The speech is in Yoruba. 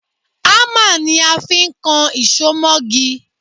Hámà ni a fi ń kan ìṣó mọ́gi